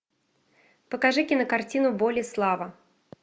покажи кинокартину боль и слава